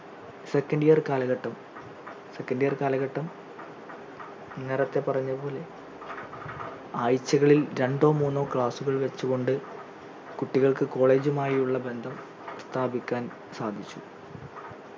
second year കാലഘട്ടം second year കാലഘട്ടം നേരത്തെ പറഞ്ഞത് പോലെ ആഴ്ചകളിൽ രണ്ടോ മൂന്നോ class ഉകൾ വച്ചുകൊണ്ടു കുട്ടികൾക്ക് college മായി ഉള്ള ബന്ധം സ്ഥാപിക്കാൻ സാധിച്ചു